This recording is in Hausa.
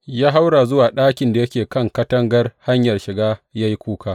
Ya haura zuwa ɗakin da yake kan katangar hanyar shiga ya yi kuka.